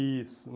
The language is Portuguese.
Isso.